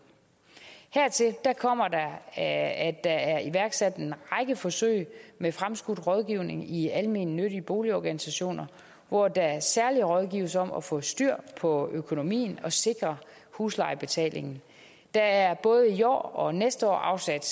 hertil kommer at der er iværksat en række forsøg med fremskudt rådgivning i almennyttige boligorganisationer hvor der særlig rådgives om at få styr på økonomien og sikre huslejebetalingen der er både i år og næste år afsat